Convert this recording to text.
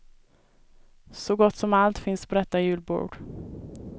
Så gott som allt finns på detta julbord.